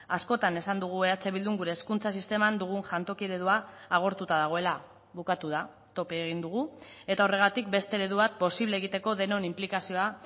askotan esan dugu eh bildun gure hezkuntza sisteman dugun jantoki eredua agortuta dagoela bukatu da tope egin dugu eta horregatik beste eredu bat posible egiteko denon inplikazioa